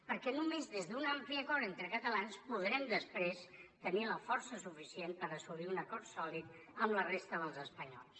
perquè només des d’un ampli acord entre catalans podrem després tenir la força suficient per assolir un acord sòlid amb la resta dels espanyols